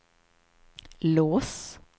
lås